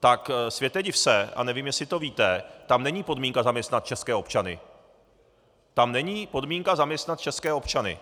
tak světe div se, a nevím, jestli to víte, tam není podmínka zaměstnat české občany - tam není podmínka zaměstnat české občany!